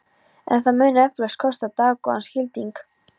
En það mun eflaust kosta dágóðan skilding.